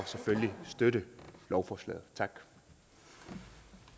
selvfølgelig støtte lovforslaget